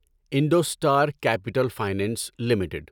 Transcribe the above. IndoStar capital finance limited